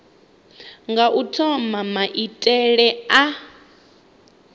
nga u thoma maitele a